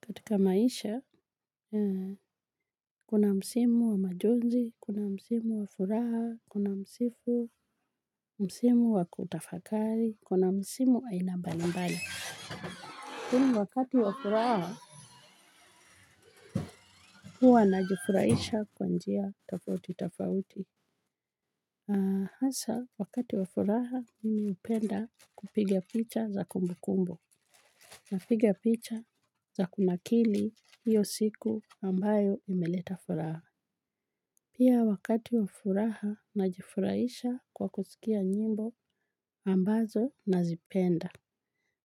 Katika maisha, kuna msimu wa majonzi, kuna msimu wa furaha, kuna msifu, msimu wa kutafakari, kuna msimu aina mbalimbali. Kumi wakati wa furaha, huwa najifuraisha kwa njia tofauti tofauti. Haasa, wakati wa furaha, mimi hupenda kupiga picha za kumbukumbu. Na piga picha za kunakili hiyo siku ambayo imeleta furaha. Pia wakati wa furaha najifuraisha kwa kusikia nyimbo ambazo nazipenda.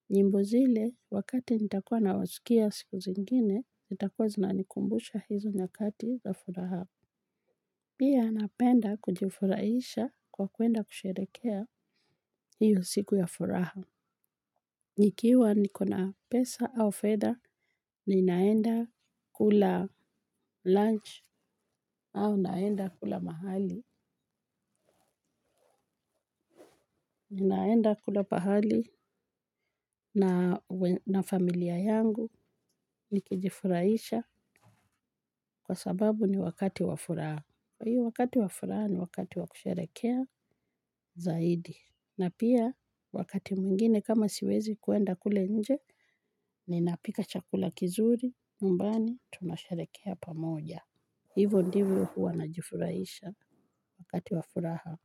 Nyimbo zile wakati nitakua nawasikia siku zingine, nitakua zinanikumbusha hizo nyakati na furaha. Pia napenda kujifuraisha kwa kwenda kusherekea hiyo siku ya furaha. Nikiwa niko na pesa au fedha, ninaenda kula lunch au naenda kula mahali. Ninaenda kula pahali na familia yangu nikijifuraisha kwa sababu ni wakati wa furaha. Kwa hiyo wakati wa furaha ni wakati wa kusherekea zaidi. Na pia wakati mwingine kama siwezi kwenda kule nje, ninapika chakula kizuri, nyumbani tunasharekea pamoja. Hivo ndivyo huwa najifurahisha wakati wa furaha.